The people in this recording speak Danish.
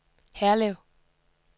Herlev